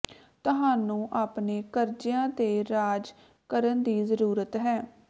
ਤੁਹਾਨੂੰ ਆਪਣੇ ਕਰਜ਼ਿਆਂ ਤੇ ਰਾਜ ਕਰਨ ਦੀ ਜ਼ਰੂਰਤ ਹੈ